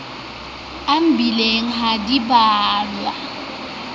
a mebileng ha di bolawe